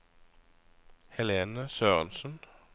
Helene Sørensen